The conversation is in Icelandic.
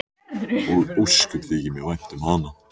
Og ósköp þykir mér vænt um hana.